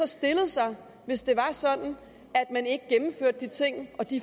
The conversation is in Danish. stille sig hvis det var sådan at man ikke gennemførte de ting og de